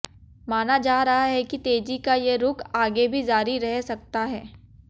माना जा रहा है कि तेजी का ये रुख आगे भी जारी रह सकता है